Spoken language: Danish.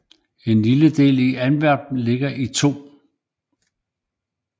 En lille del af Aspern ligger i 2